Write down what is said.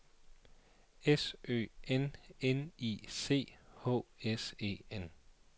S Ø N N I C H S E N